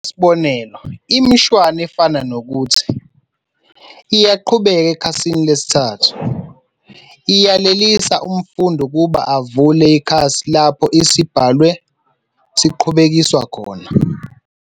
Ngokwesibonelo, imishwana efana nokuthi "iyaqhubeka ekhasini lesithathu" iyalelisa umfundi ukuba avulle ikhasi lapho isibhalwa siqhubekiswa khona.